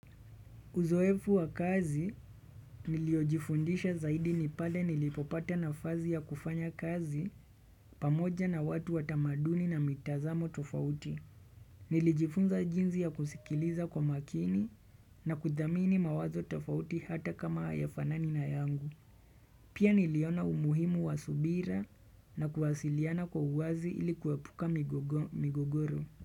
Uzoefu wa kazi, niliojifundisha zaidi nipale nilipopata nafasi ya kufanya kazi pamoja na watu watamaduni na mitazamo tofauti. Nilijifunza jinsi ya kusikiliza kwa makini na kudhamini mawazo tofauti hata kama haya fanani na yangu. Pia niliona umuhimu wa subira na kuwasiliana kwa uwazi ili kuepuka migogoro.